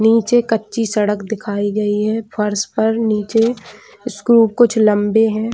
नीचे कच्ची सड़क दिखाई गई है फर्स पर नीचे कुछ लम्बे है।